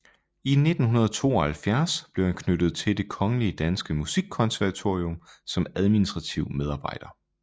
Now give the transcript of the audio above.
I 1972 blev han knyttet til Det kongelige danske Musikkonservatorium som administrativ medarbejder